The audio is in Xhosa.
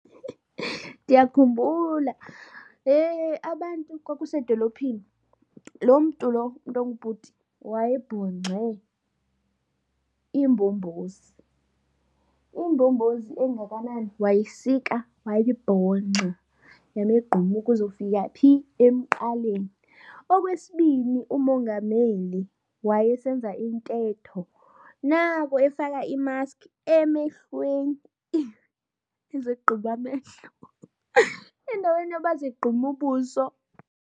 Ndiyakhumbula. He, abantu kwakusedolophini, lo mntu lo umntu ongubhuti wayebhunxe imbombozi. Imbombozi engakanani, wayisika wayibhongxa yamegquma ukuzofika phi, emqaleni. Okwesibini uMongameli wayesenza intetho, nako efaka imaski emehlweni ezigquma amehlo endaweni yoba azigqume ubuso.